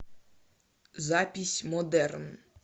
запись модерн